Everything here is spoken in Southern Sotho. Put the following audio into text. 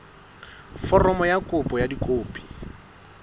foromo ya kopo ka dikopi